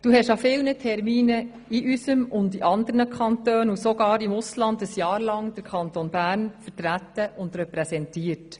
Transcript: Du hast an vielen Terminen in unserem Kanton, in anderen Kantonen und sogar im Ausland während eines Jahres den Kanton Bern vertreten und repräsentiert.